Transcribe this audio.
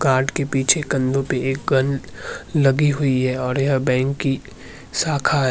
Guard के पीछे कंधो पे एक गन लगी हुई है और यह बैंक की शाखा है।